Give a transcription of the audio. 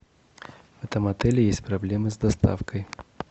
в этом отеле есть проблемы с доставкой